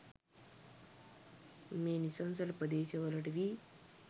මේ නිසංසල ප්‍රදේශවලට වී